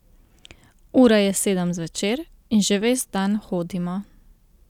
Ura je sedem zvečer in že ves dan hodimo.